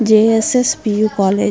J_ S_ S P U college .